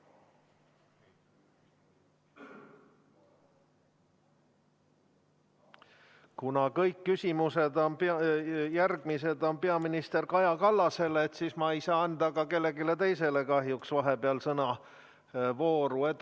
Kuna kõik järgmised küsimused on peaminister Kaja Kallasele, siis ma ei saa anda ka kellelegi teisele kahjuks vahepeal sõnavooru.